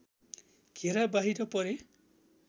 घेरा बाहिर परे